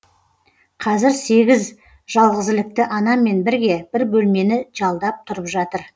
қазір сегіз жалғызілікті анамен бірге бір бөлмені жалдап тұрып жатыр